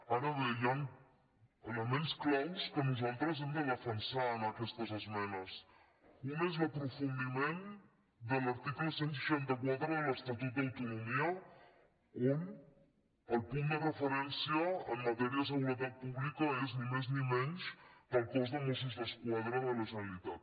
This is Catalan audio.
ara bé hi han elements clau que nosaltres hem de defensar en aquestes esmenes un és l’aprofundiment de l’article cent i seixanta quatre de l’estatut d’autonomia on el punt de referència en matèria de seguretat pública és ni més ni menys el cos de mossos d’esquadra de la generalitat